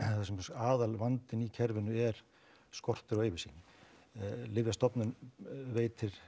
aðalvandinn í kerfinu er skortur á yfirsýn Lyfjastofnun veitir